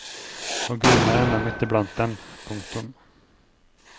Og gudene er ennå midt i blant dem. punktum